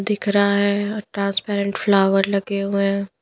दिख रहा है ट्रांसपेरेंट फ्लावर लगे हुए हैं।